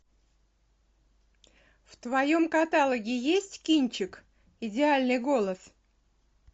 в твоем каталоге есть кинчик идеальный голос